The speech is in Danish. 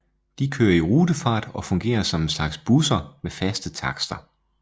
De kører i rutefart og fungerer som en slags busser med faste takster